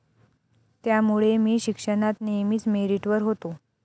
त्यामुळे मी शिक्षणात नेहमीच मेरिटवर होतो.